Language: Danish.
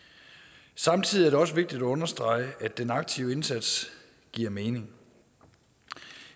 samtidig er det også vigtigt at understrege at den aktive indsats giver mening